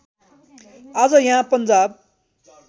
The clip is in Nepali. आज यहाँ पन्जाब